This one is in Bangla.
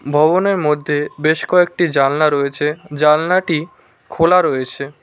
ভবনের মধ্যে বেশ কয়েকটি জালনা রয়েছে জানলাটি খোলা রয়েছে।